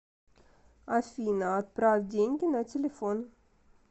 афина отправь деньги на телефон